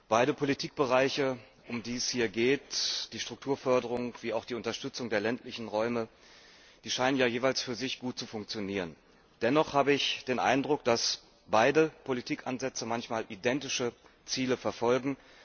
Beide Politikbereiche, um die es hier geht die Strukturförderung wie auch die Unterstützung der ländlichen Räume scheinen jeweils für sich gut zu funktionieren. Dennoch habe ich den Eindruck, dass beide Politikansätze manchmal identische Ziele verfolgen.